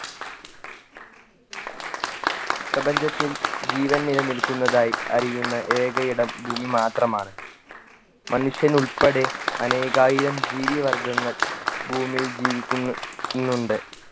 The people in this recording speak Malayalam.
പ്രപഞ്ചത്തിൽ ജീവൻ നിലനിൽക്കുന്നതായി അറിയുന്ന ഏക ഇടം ഭൂമി മാത്രമാണ് മനുഷ്യനുൾപ്പെടെ അനേകായിരം ജീവി വർഗ്ഗങ്ങൾ ഭൂമിയിൽ ജീവിക്കുന്നു ന്നുണ്ട്